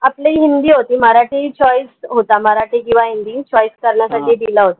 आपली हिंदी होती मराठी choice होता मराठी किंव्हा हिंदी choice करण्या दिला होता